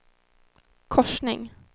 korsning